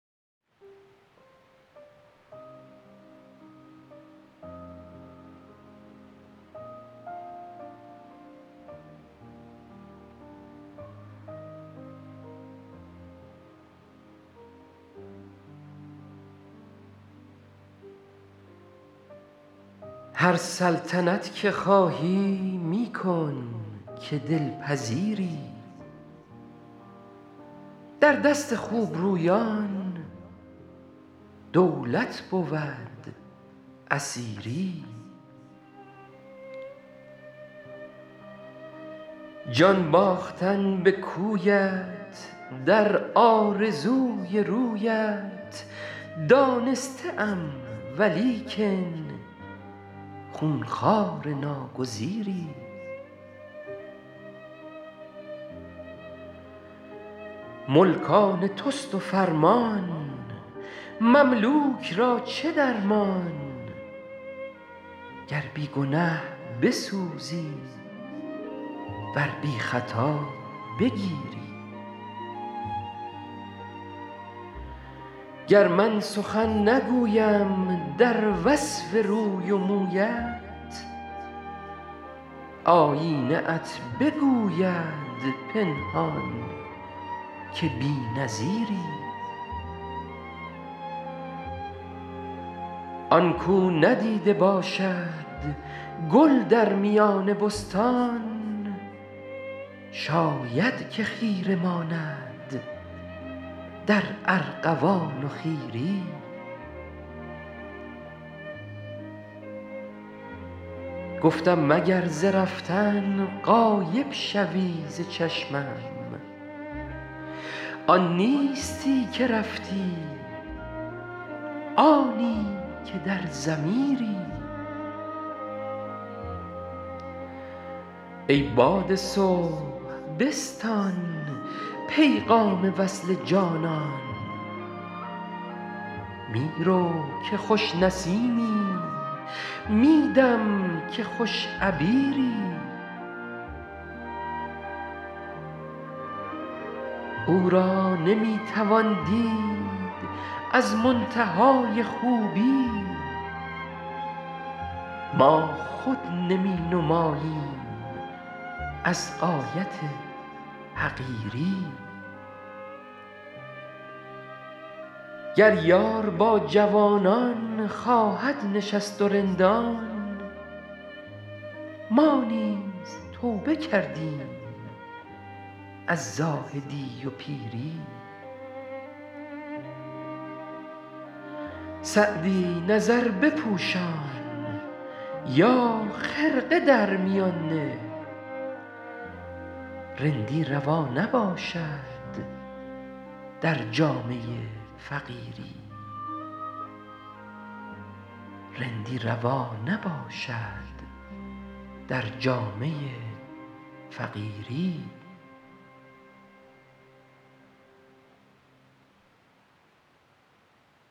هر سلطنت که خواهی می کن که دل پذیری در دست خوب رویان دولت بود اسیری جان باختن به کویت در آرزوی رویت دانسته ام ولیکن خون خوار ناگزیری ملک آن توست و فرمان مملوک را چه درمان گر بی گنه بسوزی ور بی خطا بگیری گر من سخن نگویم در وصف روی و مویت آیینه ات بگوید پنهان که بی نظیری آن کاو ندیده باشد گل در میان بستان شاید که خیره ماند در ارغوان و خیری گفتم مگر ز رفتن غایب شوی ز چشمم آن نیستی که رفتی آنی که در ضمیری ای باد صبح بستان پیغام وصل جانان می رو که خوش نسیمی می دم که خوش عبیری او را نمی توان دید از منتهای خوبی ما خود نمی نماییم از غایت حقیری گر یار با جوانان خواهد نشست و رندان ما نیز توبه کردیم از زاهدی و پیری سعدی نظر بپوشان یا خرقه در میان نه رندی روا نباشد در جامه فقیری